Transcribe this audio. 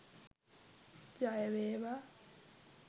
ජය වේවා